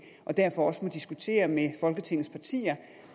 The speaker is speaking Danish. og derfor også må diskutere med folketingets partier